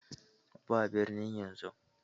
Ba birnin yanzu!